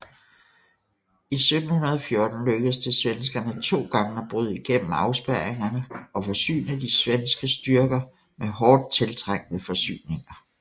I 1714 lykkedes det svenskerne to gange at bryde igennem afspærringerne og forsyne de svenske styrker med hårdt tiltrængte forsyninger